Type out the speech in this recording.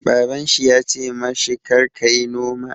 Baban shi ya ce ma shi 'Kar ka yi noma'!